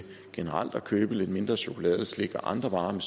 generelt at købe lidt mindre chokolade slik og andre varer med